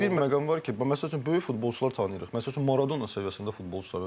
Çünki bir məqam var ki, məsəl üçün böyük futbolçular tanıyırıq, məsəl üçün Maradonan səviyyəsində futbolçular var.